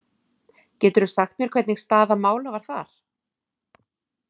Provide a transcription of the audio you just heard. Geturðu sagt mér hvernig staða mála var þar?